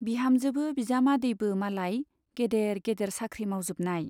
बिहामजोबो बिजामादैबो मालाय गेदेर गेदेर साख्रि मावजोबनाय।